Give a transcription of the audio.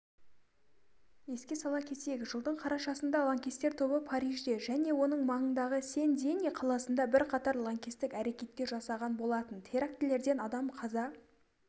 еске сала кетейік жылдың қарашасында лаңкестер тобы парижде және оның маңындағы сен-дени қаласында бірқатар лаңкестік әрекеттер жасаған болатын терактілерден адам қаза